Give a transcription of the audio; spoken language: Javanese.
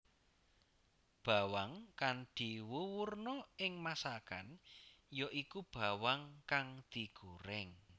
Bawang kang diwuwurna ing masakan ya iku bawang kang digorèng